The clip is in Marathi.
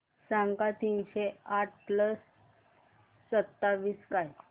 सांगा तीनशे आठ प्लस सत्तावीस काय